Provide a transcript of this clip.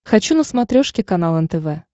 хочу на смотрешке канал нтв